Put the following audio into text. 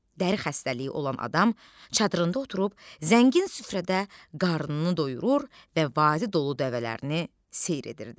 Dəri xəstəliyi olan adam çadırında oturub zəngin süfrədə qarnını doyurur və vadi dolu dəvələrini seyr edirdi.